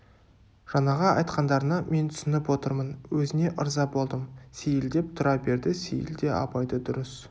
жаңағы айтқандарыңа мен түсініп отырмын өзіңе ырза болдым сейіл деп тұра берді сейіл де абайды дұрыс